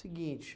Seguinte,